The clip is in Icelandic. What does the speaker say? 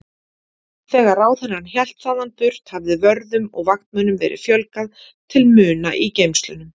Þegar ráðherrann hélt þaðan burt hafði vörðum og vaktmönnum verið fjölgað til muna í geymslunum.